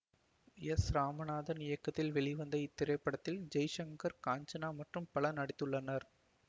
S Ramanathan இயக்கத்தில் வெளிவந்த இத்திரைப்படத்தில் ஜெய்சங்கர் காஞ்சனா மற்றும் பலர் நடித்துள்ளனர்